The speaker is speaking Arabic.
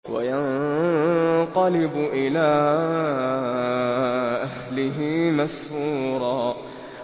وَيَنقَلِبُ إِلَىٰ أَهْلِهِ مَسْرُورًا